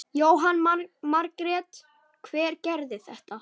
Jóhanna Margrét: Hver gerði þetta?